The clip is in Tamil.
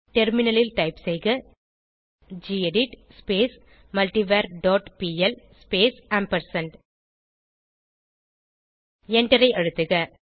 டெர்மினிலில் டைப் செய்க gedit multiver dot P L space ampersand எண்டரை அழுத்துக